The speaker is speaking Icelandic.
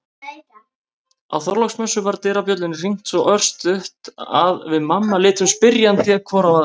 Á Þorláksmessu var dyrabjöllunni hringt svo örstutt að við mamma litum spyrjandi hvor á aðra.